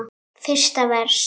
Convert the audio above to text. Fyrsta vers.